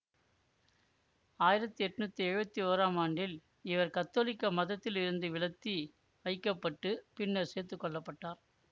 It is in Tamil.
ஆயிரத்தி எட்ணூத்தி எழுவத்தி ஓறாம் ஆண்டில் இவர் கத்தோலிக்க மதத்தில் இருந்து விலத்தி வைக்க பட்டு பின்னர் சேர்த்து கொள்ளப்பட்டார்